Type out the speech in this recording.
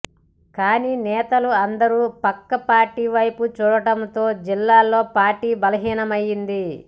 కానీ నేతలు అందరు పక్క పార్టీల వైపు చూడటంతో జిల్లాలో పార్టీ బలహీనమైంది